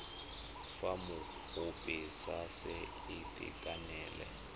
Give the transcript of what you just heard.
fa mokopi a sa itekanela